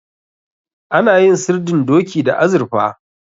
Ana yin sirdin doki da azurfa.